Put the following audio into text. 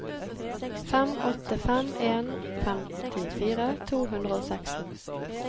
fem åtte fem en femtifire to hundre og seksten